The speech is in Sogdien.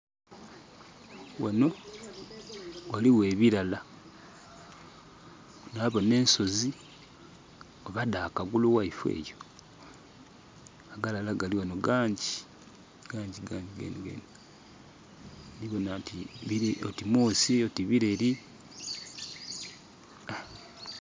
Ghano ghaligho ebilala. Na boona ensozi. Oba dha kagulu ghaife eyo? Agalala gali ghano gangyi, gangyi, gangyi, gangyi. Ndhi boona oti mwoosi oti bireri...ah.